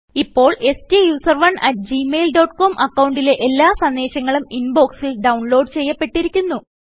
ഇപ്പോൾ സ്റ്റൂസറോണ് at Gmail dot com അക്കൌണ്ടിലെ എല്ലാ സന്ദേശങ്ങളും ഇൻബോക്സ് ൽ ഡൌൺലോഡ് ചെയ്യപ്പെട്ടിരിക്കുന്നു